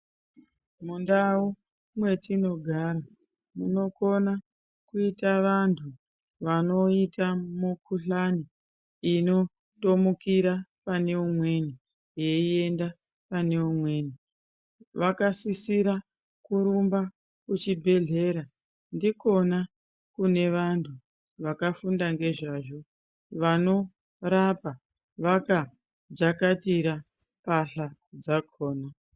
Mundau mwetinogara munokona kuita vantu vanoita mukuhlani inotomukira pane umweni yeienda pane umweni vakasisira kurumba kuchibhehlera ndikona kune vantu vakafunda ngezvazvo vano rapa vaka jakatira pahla dzakhona.